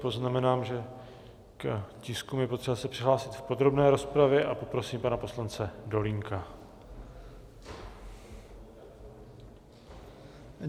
Poznamenám, že k tiskům je potřeba se přihlásit v podrobné rozpravě, a poprosím pana poslance Dolínka.